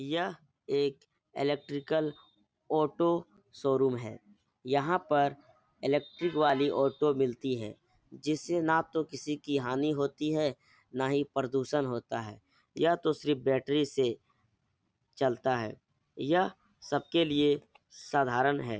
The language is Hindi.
यह एक इलेट्रिकल ऑटो शोरूम है यहाँ पर इलेक्ट्रिक वाली ऑटो मिलती है जिससे ना तो किसी की हानि होती है ना ही प्रदूषण होता है यह तो सिर्फ बैटरी से चलता है यह सबके लिए साधारण है।